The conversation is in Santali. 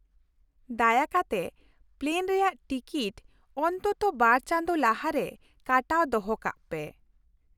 ᱫᱟᱭᱟ ᱠᱟᱛᱮ ᱯᱞᱮᱱ ᱨᱮᱭᱟᱜ ᱴᱤᱠᱤᱴ ᱚᱱᱛᱚᱛᱛᱚ ᱵᱟᱨ ᱪᱟᱸᱫᱳ ᱞᱟᱦᱟᱨᱮ ᱠᱟᱴᱟᱣ ᱫᱚᱦᱚ ᱠᱟᱜ ᱯᱮ ᱾